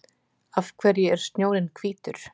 af hverju er snjórinn hvítur